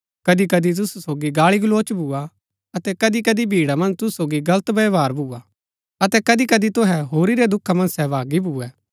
कदीकदी तुसु सोगी गाळी गलोच भुआ अतै कदीकदी भीड़ा मन्ज तुसु सोगी गलत व्यवहार भूआ अतै कदीकदी तुहै होरी रै दुखा मन्ज सहभागी भूए